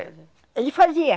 Ele fazia.